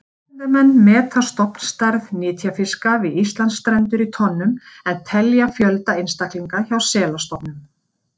Vísindamenn meta stofnstærð nytjafiska við Íslandsstrendur í tonnum en telja fjölda einstaklinga hjá selastofnum.